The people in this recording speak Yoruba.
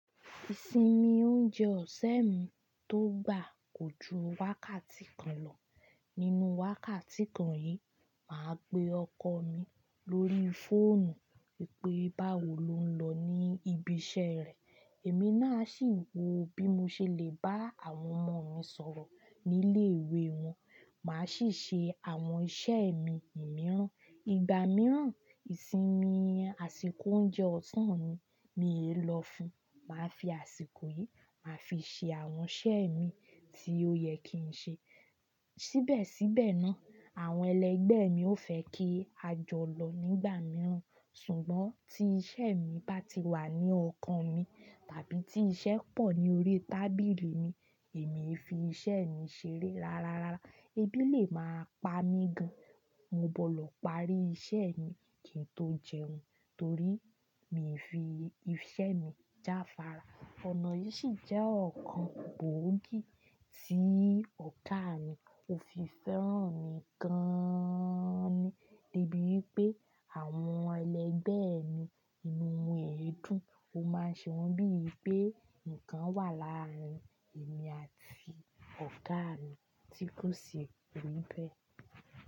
Ìsinmi oúnjẹ ọ̀sẹ̀ mi tó gbà kò ju wákàtí kan lọ. Nínú wákàtí kan yìí, màá pe ọkọ mi lórí fóònù pé báwo lo ń lọ ní ibi iṣẹ́ rẹ̀. Èmi náà sì ń wò bí mo ṣe lè bá àwọn ọmọ mi sọ̀rọ̀ nílé ìwé wọn. Màá sì ṣe àwọn iṣẹ́ mi mìíràn. Ìgbà mìíràn, ìsinmi àsìkò oúnjẹ ọ̀sán mi mi e lọ fun. Màá fi àsìkò yìí, màá fi ṣe àwọn iṣẹ́ mi tí ó yẹ kí n ṣe. Síbẹ̀síbẹ̀ náà, àwọn ẹlẹgbẹ́ mi ó fẹ́ kí a jọ lọ nígbà mìíràn. Ṣùgbọ́n tí iṣẹ́ mi bá ti wà ní ọkàn mi, tàbí tí iṣẹ́ pọ̀ ní orí tábìlì mi, èmi e fi iṣẹ́ mi ṣeré rárárá. Ebi lè máa pa mí gan, mo bọ́lọ̀ parí iṣẹ́ mi kí n tó jẹun, torí mi e fi iṣẹ́ mi jáfára. Ọ̀nà yìí sì jẹ́ ọ̀kan gbòógì tí ọ̀gà mi ò fi fẹ́ràn mi gan-an ni. Débi pé àwọn ẹlẹgbẹ́ mi inú wọ̀ n ẹdùn. Ó máa ṣe wọ́n bíi pé nǹkan wà láàárín èmi àti ọ̀gà mi tí kò sì pé bẹ́ẹ̀.